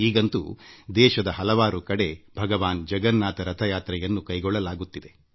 ಈಗ ವಿಶ್ವದ ಹಲವು ಭಾಗಗಳಲ್ಲಿ ಭಗವಾನ್ ಜಗನ್ನಾಥ ರಥಯಾತ್ರೆಯನ್ನು ನಡೆಸಲಾಗುತ್ತಿದೆ